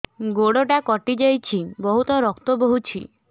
ଗୋଡ଼ଟା କଟି ଯାଇଛି ବହୁତ ରକ୍ତ ବହୁଛି